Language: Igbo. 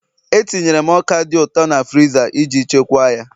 Etinyere m ọka dị ụtọ na friza iji chekwaa ya